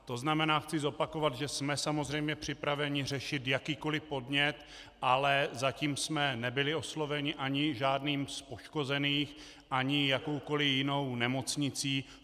To znamená, chci zopakovat, že jsme samozřejmě připraveni řešit jakýkoliv podnět, ale zatím jsme nebyli osloveni ani žádným z poškozených ani jakoukoliv jinou nemocnicí.